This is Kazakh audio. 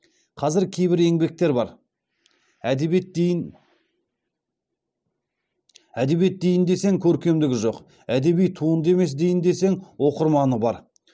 қазір кейбір еңбектер бар әдебиет дейін десең көркемдігі жоқ әдеби туынды емес дейін десең оқырманы бар